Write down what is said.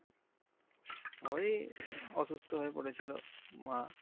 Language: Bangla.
ওই অসুস্থ হয়ে পরেছিলো মা।